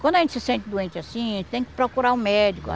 Quando a gente se sente doente assim, tem que procurar o médico.